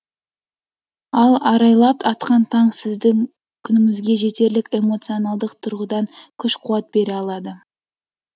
ал арайлап атқан таң сіздің күніңізге жетерлік эмоционалдық тұрғыдан күш қуат бере алады